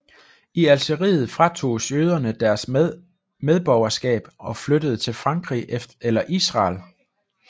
I Algeriet fratoges jøderne deres medborgerskab og flyttede til Frankrig eller Israel